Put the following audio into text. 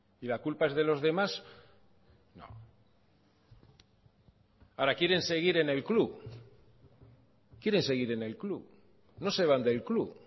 y la culpa es de los demás no ahora quieren seguir en el club quieren seguir en el club no se van del club